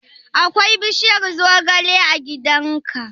Akwai bishiyar zogale a gidan ka?